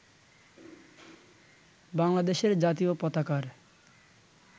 বাংলাদেশের জাতীয় পতাকার